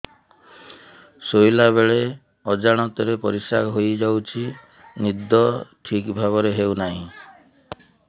ଶୋଇଲା ବେଳେ ଅଜାଣତରେ ପରିସ୍ରା ହୋଇଯାଉଛି ନିଦ ଠିକ ଭାବରେ ହେଉ ନାହିଁ